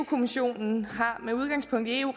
kommissionen har med udgangspunkt i eu